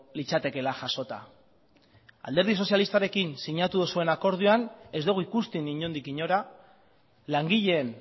litzatekeela jasota alderdi sozialistarekin sinatu duzuen akordioan ez dugu ikusten inondik inora langileen